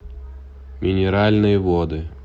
минеральные воды